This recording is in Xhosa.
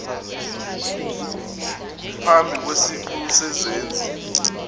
phambi kwesiqu sezenzi